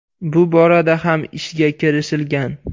Bu borada ham ishga kirishilgan.